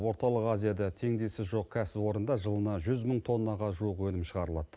орталық азияда теңдесі жоқ кәсіпорында жылына жүз мың тоннаға жуық өнім шығарылады